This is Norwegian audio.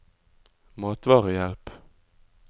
matvarehjelp